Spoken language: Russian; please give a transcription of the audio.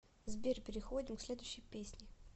сбер переходим к следующей песни